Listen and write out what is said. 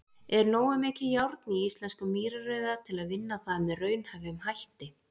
Er nógu mikið járn í íslenskum mýrarauða til vinna það með raunhæfum hætti?.